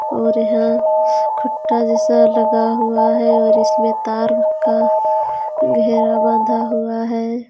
और यहाँ खुट्टा जैसा लगा हुआ हे और इसमे तार का घेरा बाँधा हुआ हे.